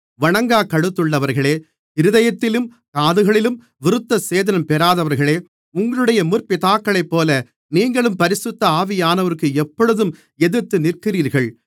வணங்காக் கழுத்துள்ளவர்களே இருதயத்திலும் காதுகளிலும் விருத்தசேதனம் பெறாதவர்களே உங்களுடைய முற்பிதாக்களைப்போல நீங்களும் பரிசுத்த ஆவியானவருக்கு எப்பொழுதும் எதிர்த்துநிற்கிறீர்கள்